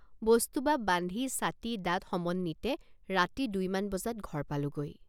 বস্তুবাব বান্ধিছাটি দাঁত সমন্বিতে ৰাতি দুইমান বজাত ঘৰ পালোগৈ।